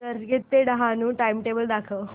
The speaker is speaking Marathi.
चर्चगेट ते डहाणू चे टाइमटेबल दाखव